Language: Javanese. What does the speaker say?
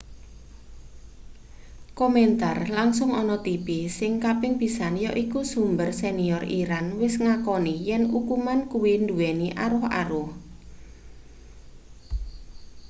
komentar langsung ana tipi sing kaping pisan yaiku sumber senior iran wis ngakoni yen ukuman kuwi nduweni aruh-aruh